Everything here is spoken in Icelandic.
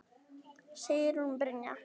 Sigrún Brynja